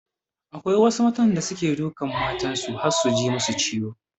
Akwai wasu mazan da suke dukan matan su har su ji masu ciwo.